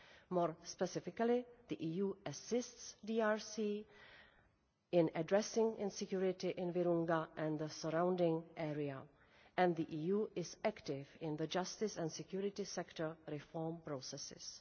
More specifically, the EU assists the DRC in addressing insecurity in Virunga and the surrounding area, and the EU is active in the justice and security sector reform processes.